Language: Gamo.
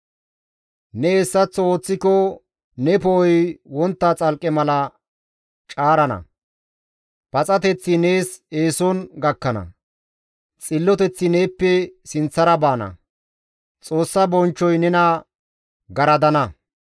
Ne hessaththo ooththiko ne poo7oy wontta xalqqe mala caarana; paxateththi nees eeson gakkana; xilloteththi neeppe sinththara baana; Xoossa bonchchoy nena garadana.